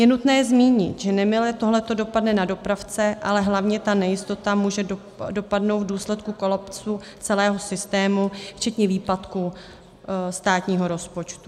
Je nutné zmínit, že nemile tohle dopadne na dopravce, ale hlavně ta nejistota může dopadnout v důsledku kolapsu celého systému včetně výpadku státního rozpočtu.